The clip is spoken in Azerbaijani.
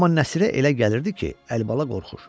Amma Nəsirə elə gəlirdi ki, Əlibala qorxur.